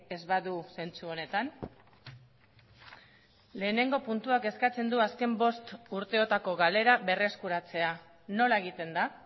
ez badu zentzu honetan lehenengo puntuak eskatzen du azken bost urteotako galera berreskuratzea nola egiten da